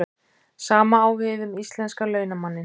Sama á við um íslenska launamanninn.